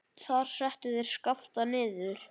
Þar settu þeir Skapta niður.